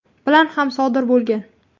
bilan ham sodir bo‘lgan.